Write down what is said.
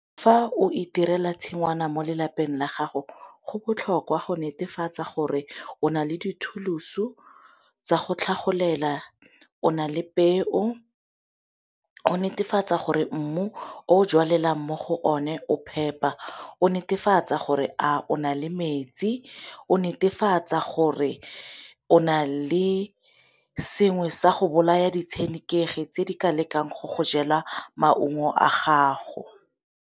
Fa o itirela tshingwana mo lelapeng la gago go botlhokwa go netefatsa gore o nale di-tool-osu tsa go tlhagolela, o na le peo, go netefatsa gore mmu o jalang mo go one o phepa, o netefatsa gore a o na le metsi, o netefatsa gore o na le sengwe sa go bolaya ditshenekegi tse di ka lekang go go jela maungo a gago.